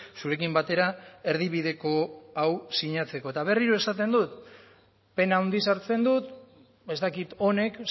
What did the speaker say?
zurekin batera erdibideko hau sinatzeko eta berriro esaten dut pena handiz hartzen dut ez dakit honek